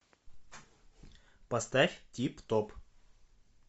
поставь тип топ